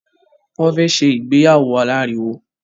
Wọn ò fẹ́ ṣe ìgbéyàwó aláriwo.